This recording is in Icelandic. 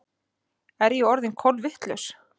Er ég orðin kolvitlaus?